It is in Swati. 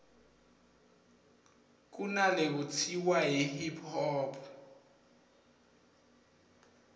kunalekutsiwa yi hip hop